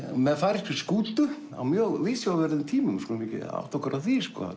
með færeyskri skútu á mjög viðsjárverðum tímum við skulum átta okkur á því